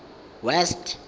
west